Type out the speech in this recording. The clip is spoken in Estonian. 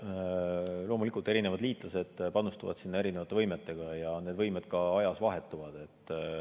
Loomulikult, erinevad liitlased panustavad sinna erinevate võimetega ja need võimed ka ajas vahetuvad.